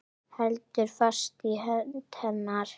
Heldur fast í hönd hennar.